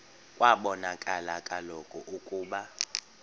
kwabonakala kaloku ukuba